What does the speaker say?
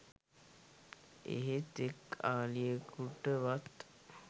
එහෙත් එක් අලියකුටවත්